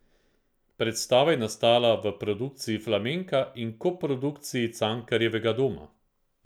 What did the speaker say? Predstava je nastala v produkciji Flamenka in koprodukciji Cankarjevega doma.